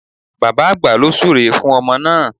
Bàbá àgbà ló súre fún ọmọ náà